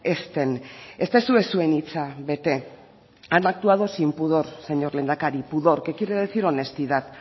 ez den ez duzue zuen hitza bete han actuado sin pudor señor lehendakari pudor que quiere decir honestidad